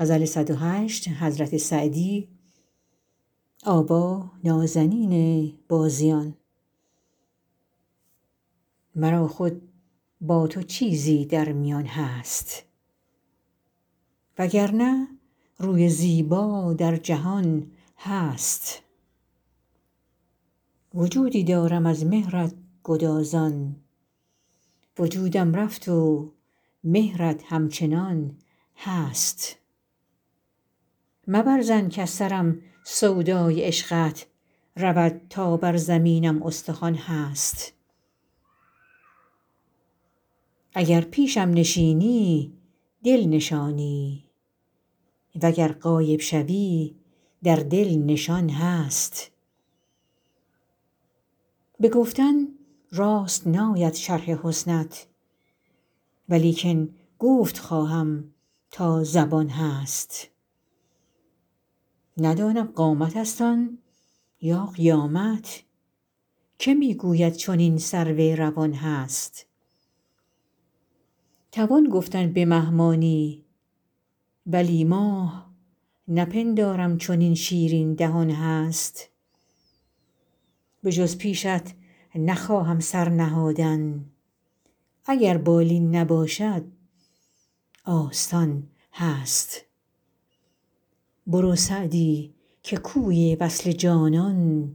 مرا خود با تو چیزی در میان هست و گر نه روی زیبا در جهان هست وجودی دارم از مهرت گدازان وجودم رفت و مهرت همچنان هست مبر ظن کز سرم سودای عشقت رود تا بر زمینم استخوان هست اگر پیشم نشینی دل نشانی و گر غایب شوی در دل نشان هست به گفتن راست ناید شرح حسنت ولیکن گفت خواهم تا زبان هست ندانم قامتست آن یا قیامت که می گوید چنین سرو روان هست توان گفتن به مه مانی ولی ماه نپندارم چنین شیرین دهان هست بجز پیشت نخواهم سر نهادن اگر بالین نباشد آستان هست برو سعدی که کوی وصل جانان